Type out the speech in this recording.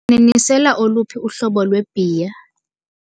Kanene nisela oluphi uhlobo lwebhiya?